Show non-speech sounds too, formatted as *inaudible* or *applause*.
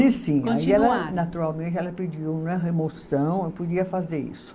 *unintelligible* Sim, aí ela naturalmente ela pediu né, remoção, ela podia fazer isso.